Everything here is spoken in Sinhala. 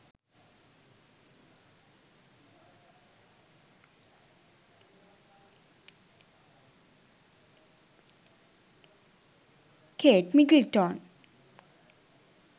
kate middleton